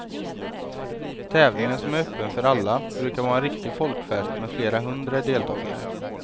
Tävlingen, som är öppen för alla, brukar vara en riktig folkfest med flera hundra deltagare.